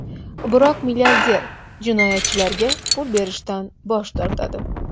Biroq milliarder jinoyatchilarga pul berishdan bosh tortadi.